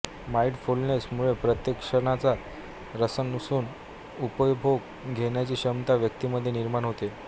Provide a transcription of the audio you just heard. mindfulness मुळे प्रत्येक क्षणाचा रसरसुन उपभोग घेण्याची क्षमता व्यक्तीमध्ये निर्माण होते